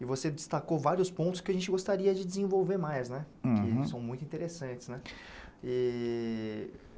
E você destacou vários pontos que a gente gostaria de desenvolver mais né, uhum, que eles são muito interessantes. Eh...